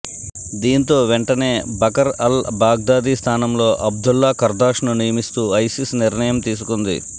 దీంతో వెంటనే Bakr al Baghdadi స్థానంలో అబ్దుల్లా ఖర్దాష్ ను నియమిస్తూ ఐసిస్ నిర్ణయం తీసుకుంది